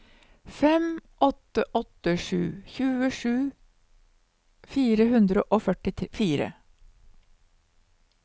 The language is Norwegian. fem åtte åtte sju tjuesju fire hundre og førtifire